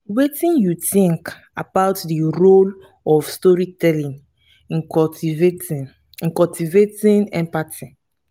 wetin you think about di role of storytelling in cultivating in cultivating empathy?